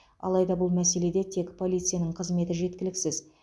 алайда бұл мәселеде тек полицияның қызметі жеткіліксіз